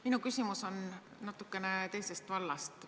Minu küsimus on natukene teisest vallast.